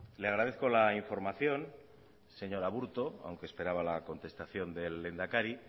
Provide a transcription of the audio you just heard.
le agradezco la información señor aburto aunque esperaba la contestación del lehendakari